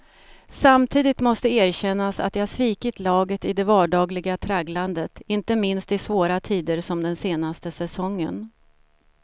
Samtidigt måste erkännas att jag svikit laget i det vardagliga tragglandet, inte minst i svåra tider som den senaste säsongen.